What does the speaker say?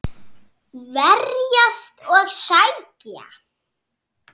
Verjast og sækja.